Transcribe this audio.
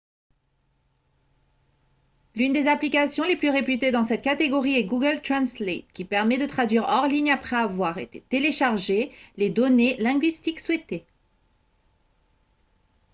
l'une des applications les plus réputées dans cette catégorie est google translate qui permet de traduire hors ligne après avoir téléchargé les données linguistiques souhaitées